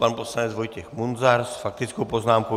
Pan poslanec Vojtěch Munzar s faktickou poznámkou.